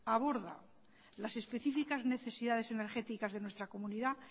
aborda las específicas necesidades energéticas de nuestra comunidad